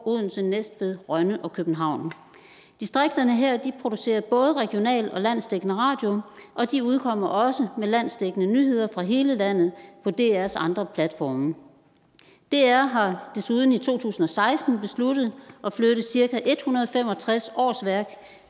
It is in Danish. odense næstved rønne og københavn distrikterne her producerer både regional og landsdækkende radio og de udkommer også med landsdækkende nyheder fra hele landet på drs andre platforme dr har desuden i to tusind og seksten besluttet at flytte cirka en hundrede og fem og tres årsværk